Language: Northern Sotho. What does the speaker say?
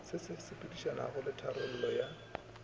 di sepedišanago le tlhabologo ya